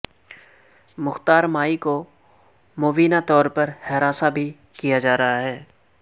مختار مائی کو مبینہ طور پر ہراساں بھی کیا جا رہا ہے